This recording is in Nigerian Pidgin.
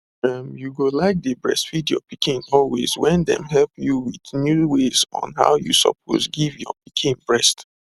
um you go like dey breastfeed your pikin always when dem help you with new ways on how you suppose give your pikin breast